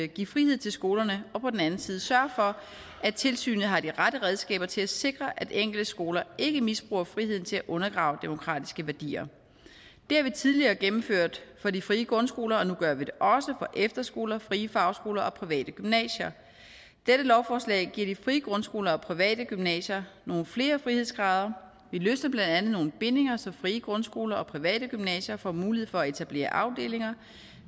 give frihed til skolerne og på den anden side at sørge for at tilsynet har de rette redskaber til at sikre at enkelte skoler ikke misbruger friheden til at undergrave demokratiske værdier det har vi tidligere gennemført for de frie grundskoler og nu gør vi det også for efterskoler frie fagskoler og private gymnasier dette lovforslag giver de frie grundskoler og private gymnasier nogle flere frihedsgrader det løsner blandt andet nogle bindinger så frie grundskoler og private gymnasier får mulighed for at etablere afdelinger